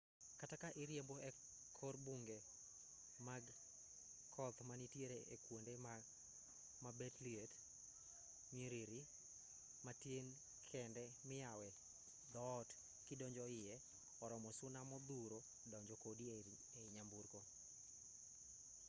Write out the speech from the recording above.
kata ka iriembo e kor bunge mag koth manitiere e kuonde ma bet liet nyiriri matin kende miyawe dhoot kidonjo iye oromo suna modhuro donjo kodi ei nyamburko